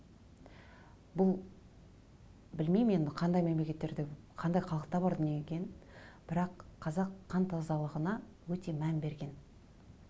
бұл білмеймін енді қандай мемлекеттерде қандай халықта бар дүние екенін бірақ қазақ қан тазалығына өте мән берген